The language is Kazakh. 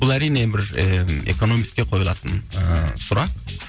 бұл әрине бір э экономистке койылатын ы сұрақ